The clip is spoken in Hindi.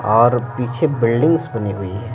और पीछे बिल्डिंग्स बनी हुई है।